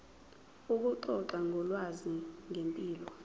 ukuxoxa ngolwazi ngempilo